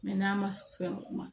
Mɛ n'a ma se fɛn ma